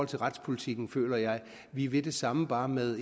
retspolitikken føler jeg vi vil det samme bare med